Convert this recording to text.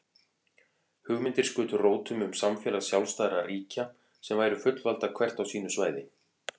Hugmyndir skutu rótum um samfélag sjálfstæðra ríkja sem væru fullvalda hvert á sínu svæði.